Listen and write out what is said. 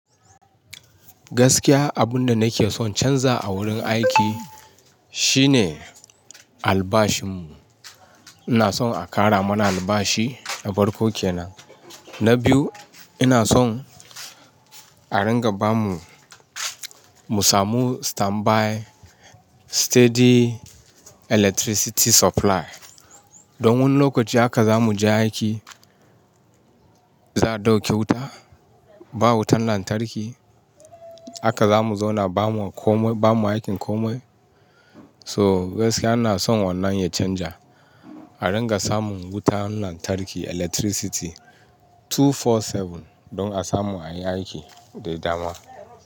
Gaskiya abun da nake son canza a wurin aiki shine albashinmu. Ina son a ƙara mana albashi a farko kenan. Na biyu ina son a ringa bamu, mu samu standby steady electricity supply. Don wani lokaci haka zamu je aiki, za a dauke wuta, ba wutan lantarki. Haka zamu zauna bamu komai, bamu aikin komai. So gaskiya ina son wannan ya canja. A ringa samun wutan lantarki electricity 24/7 don a samu anyi aiki da dama.